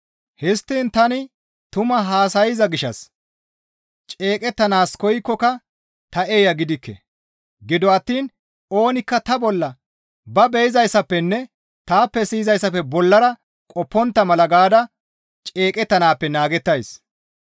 Histtiin tani tumaa haasayza gishshas ceeqettanaas koykkoka ta eeya gidikke; gido attiin oonikka ta bolla ba be7izaazappenne taappe siyizayssafe bollara qoppontta mala gaada ceeqettanaappe naagettays.